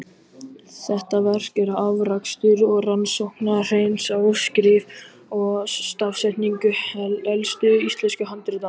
Þetta verk er afrakstur rannsókna Hreins á skrift og stafsetningu elstu íslensku handritanna.